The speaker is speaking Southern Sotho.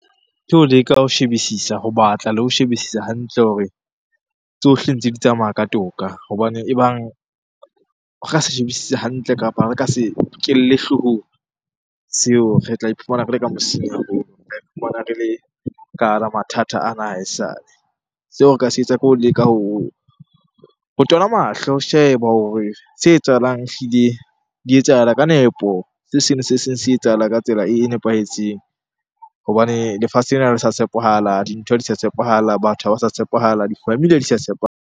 Ke ho leka ho shebisisa, ho batla le ho shebisisa hantle hore tsohle ntse di tsamaya ka toka. Hobane ebang re sa shebisise hantle, kapa re ka se nkelle hloohong seo. Re tla iphumana re le ka mosing haholo, re tla iphumana re le ka hara mathata ana a ha esale. Seo re ka se etsa ke ho leka ho tola mahlo, ho sheba hore se etsahalang ehlile di etsahala ka nepo. Se seng le se seng se etsahala ka tsela e nepahetseng hobane lefatshe lena ha le sa tshepahala, dintho ha di sa tshepahala, batho ha ba sa tshepahala, di-family ha di sa tshepahala.